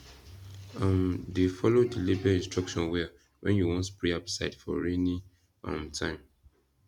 um dey follow the label instruction well when you wan spray herbicide for rainy um time